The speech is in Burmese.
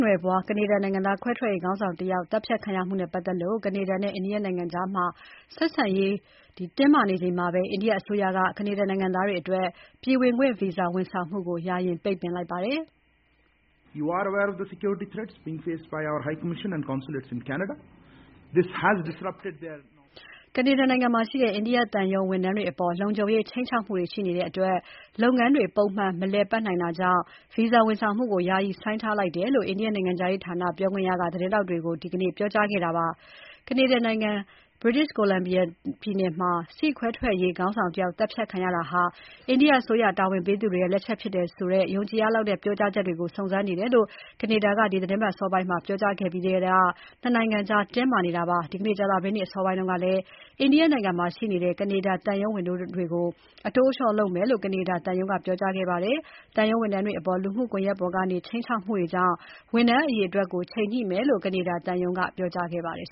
နွယ်ဘွား ကနေဒါနိုင်ငံသား ခွဲထွက်ရေးခေါင်းဆောင်တဦး သတ်ဖြတ်ခံရမှုနဲ့ ပတ်သက်လို့ ကနေဒါနဲ့ အိန္ဒိယနိုင်ငံကြား ဆက်ဆံရေးတင်းမာနေချိန်မှာပဲ အိန္ဒိယအစိုးရက ကနေဒါနိုင်ငံသားတွေအတွက် ပြည်ဝင်ခွင့်ဗီဇာဝန်ဆောင်မှုကို ယာယီပိတ်ပင်လိုက်ပါတယ်။ ကနေဒါမှာရှိတဲ့ အိန္ဒိယသံရုံးဝန်ထမ်းတွေအပေါ် လုံခြုံရေးခြိမ်ခြောက်မှုတွေရှိနေတဲ့အတွက် ဗီဇာဝန်ဆောင်မှုတွေကို ယာယီဆိုင်းထားတယ်လို့ အိန္ဒိယနိုင်ငံခြားရေးဌာန ပြောခွင့်ရ Arindam Bagchi သတင်းထောက်တွေကို ဒီနေ့ပြောကြားခဲ့ပါတယ်။ ကနေဒါနိုင်ငံ British Columbia ပြည်နယ်မှာ ဆိစ်ခ်ခွဲထွက်ရေးခေါင်းဆောင်တယောက် သတ်ဖြတ်ခံရတာဟာ အိန္ဒိယအစိုးရတာဝန်ပေးသူတွေရဲ့ လက်ချက်ဖြစ်တယ်ဆိုတဲ့ ယုံကြည်ရလောက်တဲ့ ပြောကြားချက်တွေကို စုံစမ်းနေတယ်လို့ ကနေဒါနိုင်ငံက ဒီသီတင်ပတ်အစောပိုင်းမှာ ပြောကြားခဲ့ပြီးနောက်မှာထဲက ၂ နိုင်ငံကြားတင်းမာနေပါတယ်။ ဒီနေ့ကြာသပတေးနေ့အစောပိုင်းကလည်း အိန္ဒိယနိုင်ငံမှာရှိနေတဲ့ ကဒါသံရုံးဝန်ထမ်းတွေကို အတိုးအလျော့ လုပ်မယ်လို့ ကနေဒါသံရုံးက ပြောကြားခဲ့ပါတယ်။ သံရုံးဝန်ထမ်းတွေအပေါ် လူမှုကွန်ရက်တွေပေါ်ကနေ ခြိမ်းခြောက်မှုတွေကြောင့် ဝန်ထမ်းအရေအတွက်ကို ချိန်ညှိမယ်လို့ ကနေဒါသံရုံးက ပြောကြားပါတယ်